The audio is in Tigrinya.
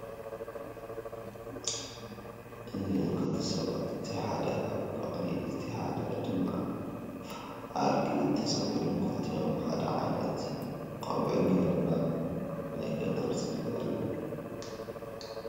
እዚአን ክልተ ሰባት እቲ ሓደ አብ በቅሊ እቲ ሓደ ድማ አብ አድጊ ተሰቂሎም ክልቲኦም ሓደ ዓይነት ቆቢዕ ገይሮም አብ ናይ ገጠር ፅርግያ አለዉ፡፡